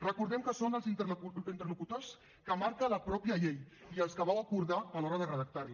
recordem que són els interlocutors que marca la mateixa llei i els que vau acordar a l’hora de redactar la